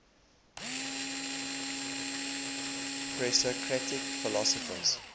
presocratic philosophers